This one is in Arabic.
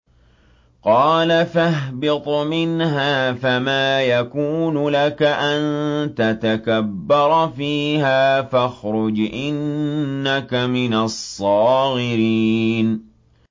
قَالَ فَاهْبِطْ مِنْهَا فَمَا يَكُونُ لَكَ أَن تَتَكَبَّرَ فِيهَا فَاخْرُجْ إِنَّكَ مِنَ الصَّاغِرِينَ